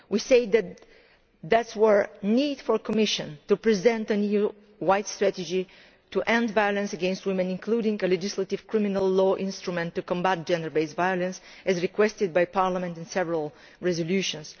We said that there was a need for the Commission to present an EU wide strategy to end violence against women, including a legislative criminal law instrument to combat gender based violence as requested by Parliament in several resolutions.